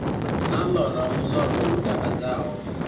na ḽora muḽoro u takadzaho